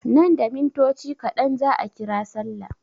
Nan da mintoci kaɗan za a ƙira sallah.